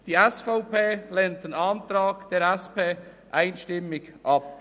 Die SVP lehnt den Antrag der SP einstimmig ab.